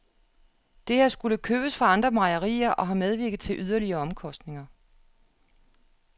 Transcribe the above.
Det har skullet købes fra andre mejerier og har medvirket til yderligere omkostninger.